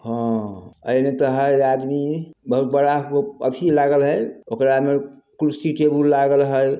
एने तो हैं आदमी बहुत बड़ा एथी लागल है ओकरा में कुर्सी टेबुल लगाल हैं।